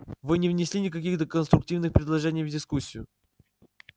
вы не внесли никаких конструктивных предложений в дискуссию